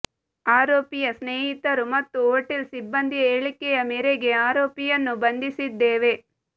ಆರೋಪಿಯ ಸ್ನೇಹಿತರು ಮತ್ತು ಹೋಟೆಲ್ ಸಿಬ್ಬಂದಿಯ ಹೇಳಿಕೆಯ ಮೇರೆಗೆ ಆರೋಪಿಯನ್ನು ಬಂಧಿಸಿದ್ದೇವೆ